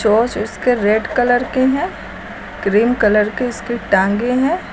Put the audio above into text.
चोंच उसके red colour के है क्रीम कलर की इसकी टांगे हैं।